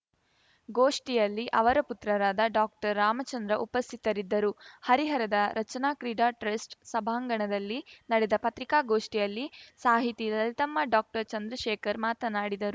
ಗೋಷ್ಠಿಯಲ್ಲಿ ಅವರ ಪುತ್ರರಾದ ಡಾಕ್ಟರ್ ರಾಮಚಂದ್ರ ಉಪಸ್ಥಿತರಿದ್ದರು ಹರಿಹರದ ರಚನಾ ಕ್ರೀಡಾ ಟ್ರಸ್ಟ್‌ ಸಭಾಂಗಣದಲ್ಲಿ ನಡೆದ ಪತ್ರಿಕಾಗೋಷ್ಠಿಯಲ್ಲಿ ಸಾಹಿತಿ ಲಲಿತಮ್ಮ ಡಾಕ್ಟರ್ ಚಂದ್ರಶೇಖರ್‌ ಮಾತನಾಡಿದರು